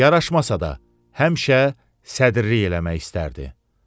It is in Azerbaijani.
Yaraşmasa da, həmişə sədrilik eləmək istərdi.